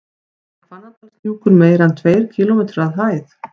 Er Hvannadalshnjúkur meira en tveir kílómetrar að hæð?